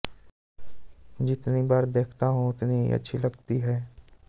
जितनी बार देखता हूं उतनी ही अच्छी लगती है